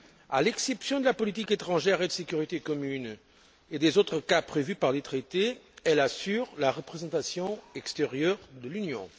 À l'exception de la politique étrangère et de sécurité commune et des autres cas prévus par les Traités, elle assure la représentation extérieure de l'Union.